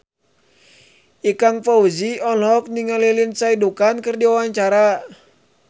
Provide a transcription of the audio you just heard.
Ikang Fawzi olohok ningali Lindsay Ducan keur diwawancara